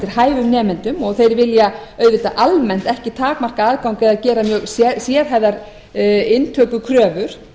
hæfum nemendum og þeir vilja auðvitað almennt ekki takmarka aðgang eða gera mjög sérhæfðar inntökukröfur